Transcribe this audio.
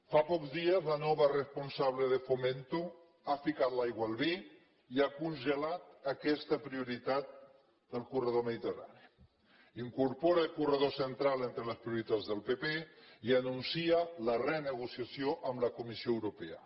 fa pocs dies la nova responsable de fomento ha ficat l’aigua al vi i ha congelat aquesta prioritat del corredor mediterrani incorpora el corredor central entre les prioritats del pp i anuncia la renegociació amb la comissió europea